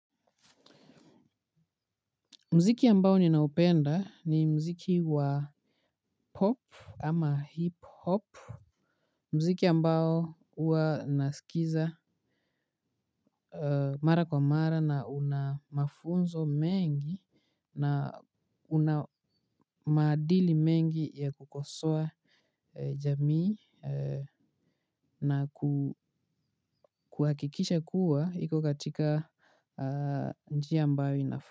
Mziki ambao ninaupenda ni mziki wa pop ama hip hop. Mziki ambao uwa nasikiza mara kwa mara na una mafunzo mengi na una maadili mengi ya kukosoa jamii na kuhakikisha kuwa iko katika njia ambao inafa.